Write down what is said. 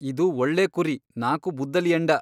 ಒಂದು ಒಳ್ಳೇ ಕುರಿ ನಾಕು ಬುದ್ದಲಿ ಎಂಡ.